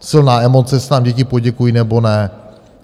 Silná emoce, jestli nám děti poděkují, nebo ne.